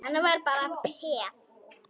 Hann var bara peð.